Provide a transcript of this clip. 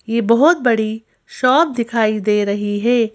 यह बहुत बड़ी शॉप दिखाई दे रही है।